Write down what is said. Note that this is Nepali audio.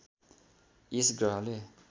यस ग्रहले